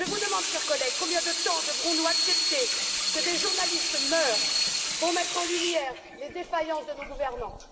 Je vous le demande, chers collègues combien de temps devrons nous accepter que des journalistes meurent pour mettre en lumière les défaillances de nos gouvernants?